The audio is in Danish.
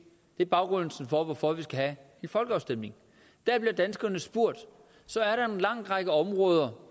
det er baggrunden for hvorfor vi skal have en folkeafstemning der bliver danskerne spurgt så er der en lang række områder